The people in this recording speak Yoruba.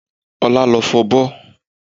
Ọlá ló fọbọ́